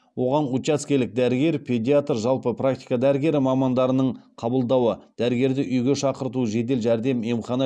оған учаскелік дәрігер педиатр жалпы практика дәрігері мамандарының қабылдауы дәрігерді үйге шақырту жедел жәрдем